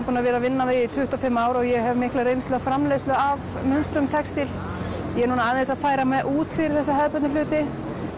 búin að vera að vinna við í tuttugu og fimm ár og ég hef mikla reynslu í framleiðslu á textíl ég er núna aðeins að færa mig út fyrir þessa hefðbundnu hluti